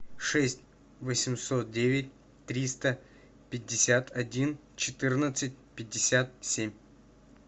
шесть восемьсот девять триста пятьдесят один четырнадцать пятьдесят семь